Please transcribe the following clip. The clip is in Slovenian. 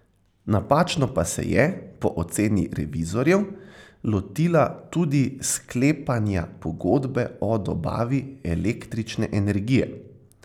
Napačno pa se je, po oceni revizorjev, lotila tudi sklepanja pogodbe o dobavi električne energije.